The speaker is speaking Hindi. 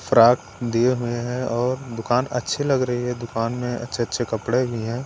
फ्राक दिए हुए हैं और दुकान अच्छी लग रही है दुकान में अच्छे-अच्छे कपड़े भी हैं।